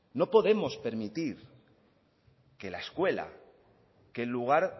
no podemos permitir que la escuela que el lugar